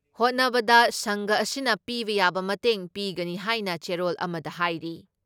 ꯍꯣꯠꯅꯕꯗ ꯁꯪꯘ ꯑꯁꯤꯅ ꯄꯤꯕ ꯌꯥꯕ ꯃꯇꯦꯡꯄꯤꯒꯅꯤ ꯍꯥꯏꯅ ꯆꯦꯔꯣꯜ ꯑꯃꯗ ꯍꯥꯏꯔꯤ ꯫